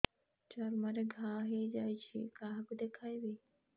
ଚର୍ମ ରେ ଘା ହୋଇଯାଇଛି କାହାକୁ ଦେଖେଇବି